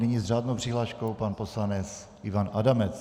Nyní s řádnou přihláškou pan poslanec Ivan Adamec.